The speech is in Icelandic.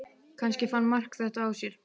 Kannski fann Mark þetta á sér.